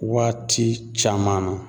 Waati caman na